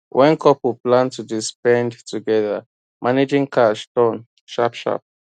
when couple plan to dey spend together managing cash turn sharp sharp